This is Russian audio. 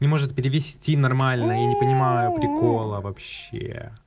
не может перевести нормально я не понимаю прикола вообще